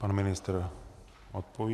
Pan ministr odpoví.